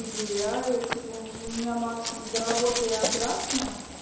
и гуляю типа у меня максимум до работы и обратно